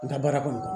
N ka baara kɔnɔ